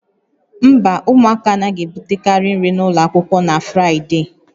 Mba, ụmụaka anaghị ebutekarị nri n'ụlọ akwụkwọ na Fraịde